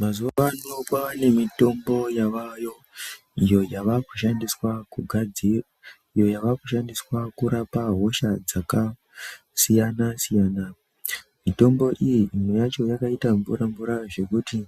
Mazuvano kwave nemitombo yavayo iyo yava kushandiswa kugadzira iyo yava kushandiswa kurapa hosha dzaka siyana siyana, mitombo iyi imwe yacho imwe yacho yakaita mvura mvura zvekuti